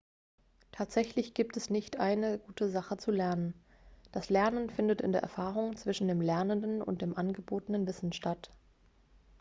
tatsächlich gibt es nicht eine gute sache zu lernen das lernen findet in der erfahrung zwischen dem lernenden und dem angebotenen wissen statt